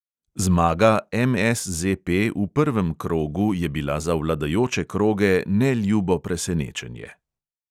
Zmaga MSZP v prvem krogu je bila za vladajoče kroge neljubo presenečenje.